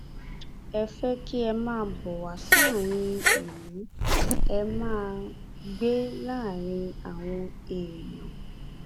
a fẹ kí ẹ máa bọ wá sáàrin ìlú ẹ máa gbé láàrin àwọn èèyàn